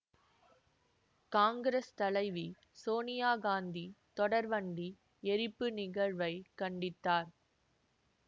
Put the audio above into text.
காங்கிரஸ் தலைவி சோனியா காந்தி தொடர்வண்டி எரிப்பு நிகழ்வை கண்டித்தார்